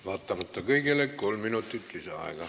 Vaatamata kõigele kolm minutit lisaaega.